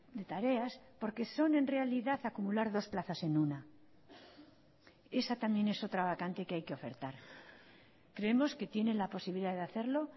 de tareas porque son en realidad acumular dos plazas en una esa también es otra vacante que hay que ofertar creemos que tienen la posibilidad de hacerlo